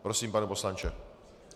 Prosím, pane poslanče.